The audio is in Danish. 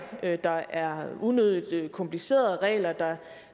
der er unødigt komplicerede regler der